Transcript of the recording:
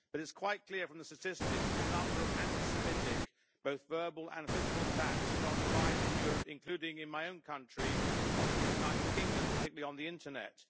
It is quite clear from the statistics that the number of anti Semitic attacks, both verbal and physical, is on the rise in Europe, including in my own country, the United Kingdom, particularly on the internet.